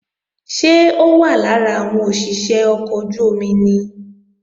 Ṣé ó wà lára àwọn òṣìṣé ọkọ̀ ojú-omi ni?